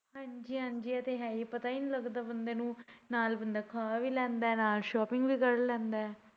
ਹਾਂਜੀ ਹਾੰਜੀ ਏਹ ਤਾਂ ਹੈ ਪਤਾ ਹੀ ਨਈ ਲੱਗਦਾ ਬੰਦੇ ਨੂੰ ਨਾਲ ਬੰਦਾ ਖਾ ਵੀ ਲੈਂਦਾ ਨਾਲ shopping ਵੀ ਕਰ ਲੈਂਦਾ।